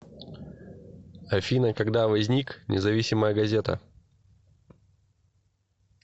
афина когда возник независимая газета